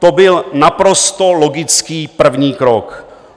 To byl naprosto logický první krok.